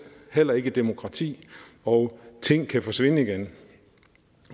heller ikke et demokrati og at ting kan forsvinde igen